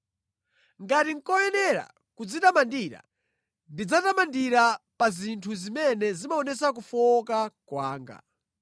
Ngati nʼkoyenera kudzitamandira, ndidzadzitamandira pa zinthu zimene zimaonetsa kufowoka kwanga.